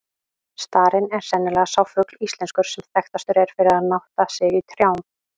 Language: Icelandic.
Starinn er sennilega sá fugl íslenskur, sem þekktastur er fyrir að nátta sig í trjám.